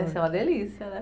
uma delícia, né?